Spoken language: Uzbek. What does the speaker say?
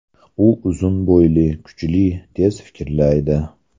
U uzun bo‘yli, kuchli, tez fikrlaydi.